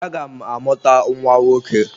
Aga m amụta nwa nwoke.